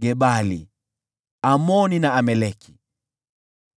Gebali, Amoni na Amaleki,